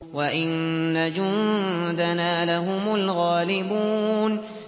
وَإِنَّ جُندَنَا لَهُمُ الْغَالِبُونَ